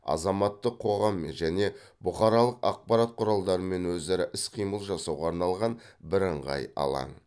азаматтық қоғаммен және бұқаралық ақпарат құралдарымен өзара іс қимыл жасауға арналған бірыңғай алаң